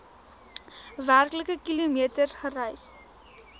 werklike kilometers gereis